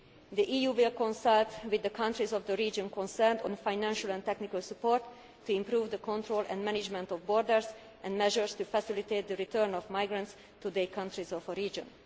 performance. The EU will consult with the countries of the region that are concerned on financial and technical support for improving the control and management of borders, as well as measures to facilitate the return of migrants to their countries